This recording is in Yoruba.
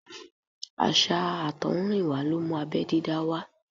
Àṣà àtọ̀húnrìnwá ló mú abẹ́ dídá wá.